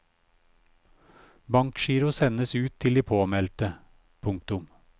Bankgiro sendes ut til de påmeldte. punktum